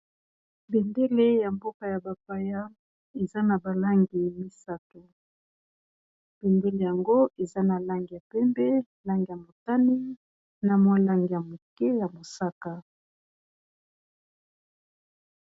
Bendele ya mboka ya ba paya eza na ba langi misato. Bendele yango eza na langi ya pembe, langi ya motani, na mua langi ya moke ya mosaka.